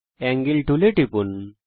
angle টুলে টিপুন